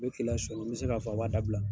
N bɛ ki lasomi n bɛ se k'a fɔ a b'a dabila.